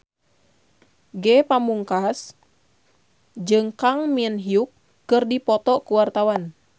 Ge Pamungkas jeung Kang Min Hyuk keur dipoto ku wartawan